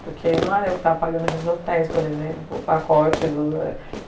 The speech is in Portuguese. Porque não era eu que estava pagando aqueles hotéis, por exemplo, o pacote do